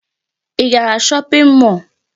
Ị gara shopping mall?